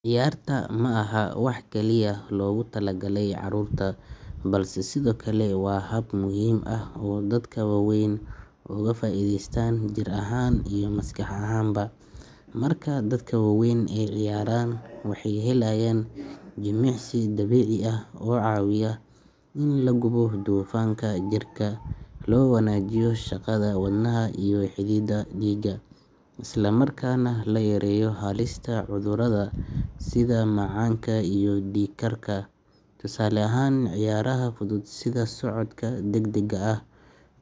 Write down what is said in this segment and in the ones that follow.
Ciyaartu ma aha wax kaliya loogu talagalay carruurta, balse sidoo kale waa hab muhiim ah oo dadka waaweyn uga faa’iidaystaan jir ahaan iyo maskax ahaanba. Marka dadka waaweyn ay ciyaaraan, waxay helayaan jimicsi dabiici ah oo caawiya in la gubo dufanka jirka, loo wanaajiyo shaqada wadnaha iyo xididdada dhiigga, isla markaana la yareeyo halista cudurrada sida macaanka iyo dhiig-karka. Tusaale ahaan, ciyaaraha fudud sida socodka degdega ah,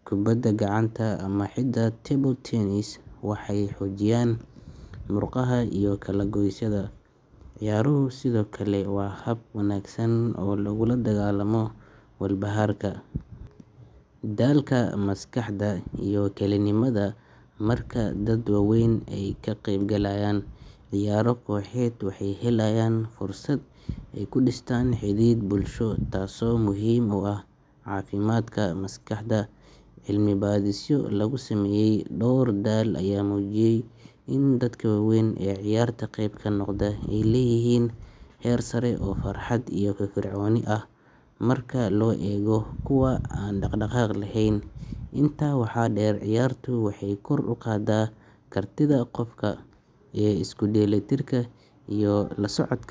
kubadda gacanta, ama xitaa table tennis, waxay xoojiyaan murqaha iyo kala-goysyada. Ciyaaruhu sidoo kale waa hab wanaagsan oo lagula dagaallamo walbahaarka, daalka maskaxda, iyo kelinimada. Marka dad waaweyn ay ka qaybgalaan ciyaaro kooxeed, waxay helayaan fursad ay ku dhistaan xidhiidh bulsho, taasoo muhiim u ah caafimaadka maskaxda. Cilmibaadhisyo lagu sameeyay dhowr dal ayaa muujiyay in dadka waaweyn ee ciyaarta qayb ka noqda ay leeyihiin heer sare oo farxad iyo firfircooni ah marka loo eego kuwa aan dhaqdhaqaaq lahayn. Intaa waxaa dheer, ciyaartu waxay kor u qaadaa kartida qofka ee isku dheellitirka iyo la socod.